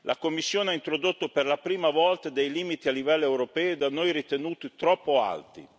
La Commissione ha introdotto per la prima volta dei limiti a livello europeo, da noi ritenuti troppo alti.